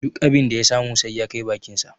Duk abin da ya samu sai ya kai bakinsa.